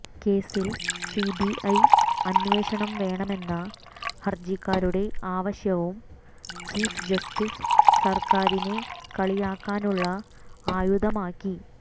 കേസിൽ സിബിഐ അന്വേഷണം വേണമെന്ന ഹർജിക്കാരുടെ ആവശ്യവും ചീഫ്ജസ്റ്റിസ് സർക്കാരിനെ കളിയാക്കാനുള്ള ആയുധമാക്കി